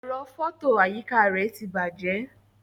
Ẹ̀rọ fọto àyíká rẹ ti bàjẹ́.